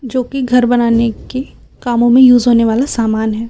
जो कि घर बनाने की कामों में यूज होने वाला सामान है।